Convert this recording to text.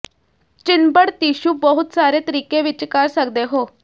ਚਿੰਬੜ tissue ਬਹੁਤ ਸਾਰੇ ਤਰੀਕੇ ਵਿੱਚ ਕਰ ਸਕਦੇ ਹੋ